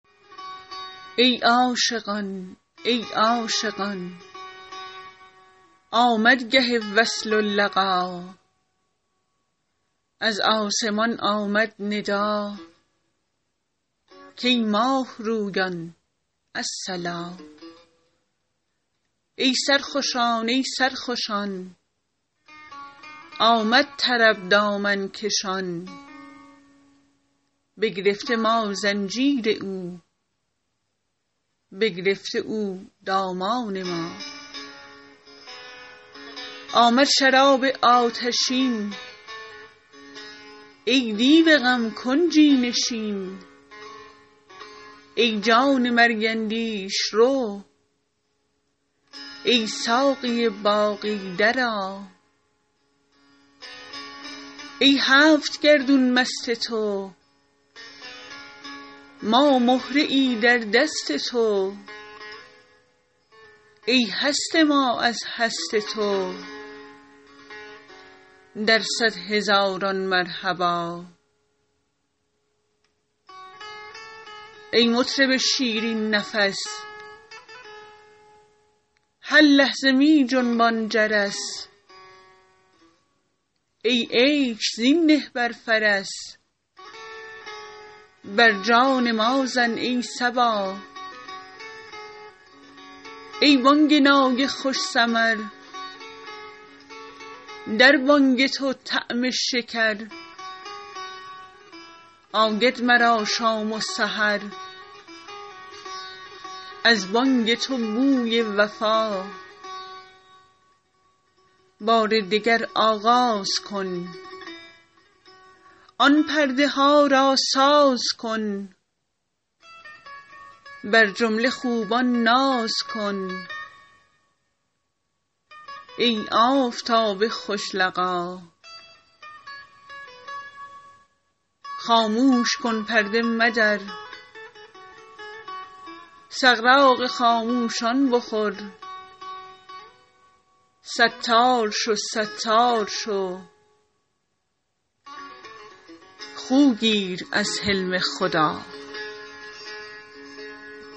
ای عاشقان ای عاشقان آمد گه وصل و لقا از آسمان آمد ندا کای ماه رویان الصلا ای سرخوشان ای سرخوشان آمد طرب دامن کشان بگرفته ما زنجیر او بگرفته او دامان ما آمد شراب آتشین ای دیو غم کنجی نشین ای جان مرگ اندیش رو ای ساقی باقی درآ ای هفت گردون مست تو ما مهره ای در دست تو ای هست ما از هست تو در صد هزاران مرحبا ای مطرب شیرین نفس هر لحظه می جنبان جرس ای عیش زین نه بر فرس بر جان ما زن ای صبا ای بانگ نای خوش سمر در بانگ تو طعم شکر آید مرا شام و سحر از بانگ تو بوی وفا بار دگر آغاز کن آن پرده ها را ساز کن بر جمله خوبان ناز کن ای آفتاب خوش لقا خاموش کن پرده مدر سغراق خاموشان بخور ستار شو ستار شو خو گیر از حلم خدا